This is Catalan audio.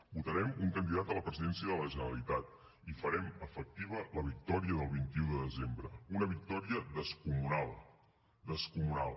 votarem un candidat a la presidència de la generalitat i farem efectiva la victòria del vint un de desembre una victòria descomunal descomunal